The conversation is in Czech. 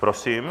Prosím.